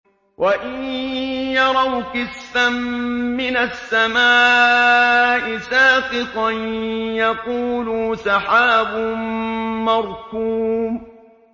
وَإِن يَرَوْا كِسْفًا مِّنَ السَّمَاءِ سَاقِطًا يَقُولُوا سَحَابٌ مَّرْكُومٌ